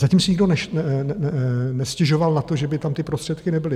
Zatím si nikdo nestěžoval na to, že by tam ty prostředky nebyly.